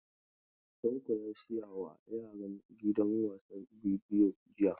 Tanko ya saya wa yaran gidan wasan bidiyo jiya.